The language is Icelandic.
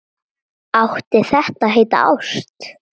Átti þetta að heita ást?